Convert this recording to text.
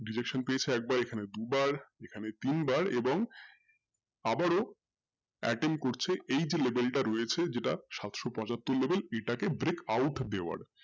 derection পেয়েছে একবার এখানে দুবার এখানে তিনবার এবং আবারও করছে এই যে level টা রয়েছে যেটা সাতশো পচাত্তর level এটা কে break out দেওয়ার